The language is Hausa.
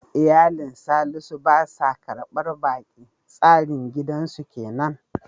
Iyalin Salisu ba sa karbar baki, tsarin danginsu kenan.